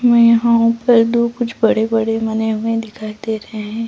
मै यहाँ हु ऊपर कुछ बड़े-बड़े दिखाई दे रहे है।